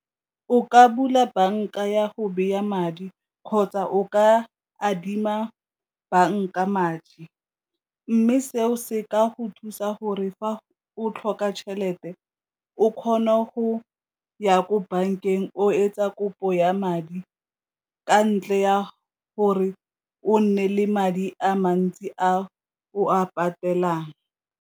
O ka bula banka ya go madi kgotsa o ka adima banka madi, mme seo se ka go thusa gore fa o tlhoka tšhelete o kgone go ya ko bankeng o etsa kopo ya madi ka ntle ya gore o nne le madi a mantsi a o a patelang.